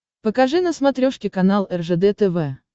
покажи на смотрешке канал ржд тв